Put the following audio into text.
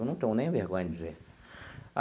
Eu não tenho nem vergonha de dizer.